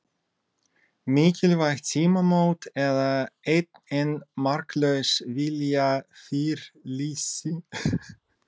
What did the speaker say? Mikilvæg tímamót eða enn ein marklaus viljayfirlýsingin?